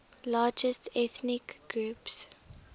largest ethnic groups